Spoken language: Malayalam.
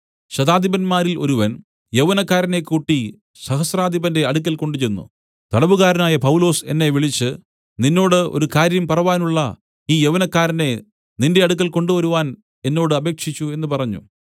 ശതാധിപന്മാരിൽ ഒരുവൻ യൗവനക്കാരനെ കൂട്ടി സഹസ്രാധിപന്റെ അടുക്കൽ കൊണ്ടുചെന്ന് തടവുകാരനായ പൗലൊസ് എന്നെ വിളിച്ച് നിന്നോട് ഒരു കാര്യം പറവാനുള്ള ഈ യൗവനക്കാരനെ നിന്റെ അടുക്കൽ കൊണ്ടുവരുവാൻ എന്നോട് അപേക്ഷിച്ചു എന്നു പറഞ്ഞു